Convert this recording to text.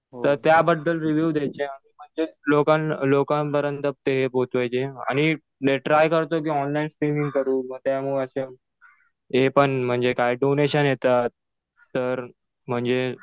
तर त्याबद्दल रिव्यू द्यायचे. म्हणजेच लोकां लोकांपर्यंत ते पोहोचवायचे. आणि ट्राय करतोय कि ऑनलाईन स्ट्रीमिंग करू. मग त्यामुळं असं हे पण म्हणजे कायडोनेशन येतात. तर म्हणजे